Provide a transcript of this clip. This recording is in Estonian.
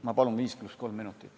Ma palun 5 + 3 minutit.